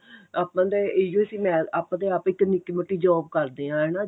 ਆਪਾਂ ਨੂੰ ਤੇ ਇਹੀ ਓ ਸੀ ਮੈਂ ਆਪਾਂ ਤੇ ਆਪ ਇੱਕ ਨਿੱਕੀ ਮੋਟੀ job ਕਰਦੇ ਆ ਹਨਾ